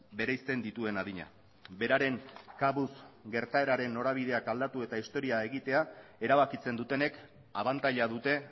bereizten dituen adina beraren kabuz gertaeraren norabideak aldatu eta historia egitea erabakitzen dutenek abantaila dute